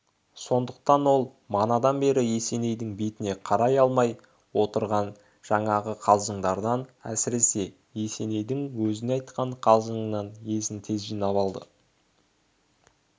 сондықтан ол манадан бері есенейдің бетіне қарай алмай отырған жаңағы қалжыңдардан әсіресе есенейдің өзіне айтқан қалжыңынан есін тез жинап алды